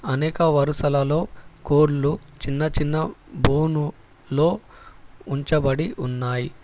అనేక వరుసలలో కోళ్లు చిన్నచిన్న బోనులో ఉంచబడి ఉన్నాయి.